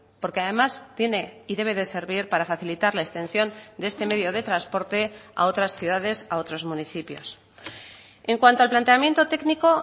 porque además tiene y debe de servir para facilitar la extensión de este medio de transporte a otras ciudades a otros municipios en cuanto al planteamiento técnico